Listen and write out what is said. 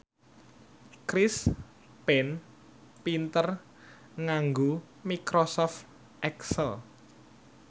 Chris Pane pinter nganggo microsoft excel